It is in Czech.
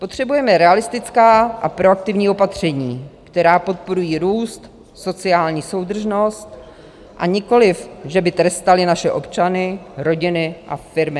Potřebujeme realistická a proaktivní opatření, která podporují růst, sociální soudržnost a nikoliv, že by trestala naše občany, rodiny a firmy.